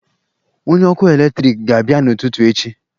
Onye ọkụ eletrik ga-abịa n'ụtụtụ echi